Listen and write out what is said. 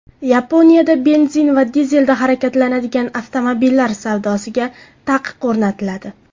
Yaponiyada benzin va dizelda harakatlanadigan avtomobillar savdosiga taqiq o‘rnatiladi.